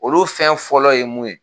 Olu fɛn fɔlɔ ye mun ye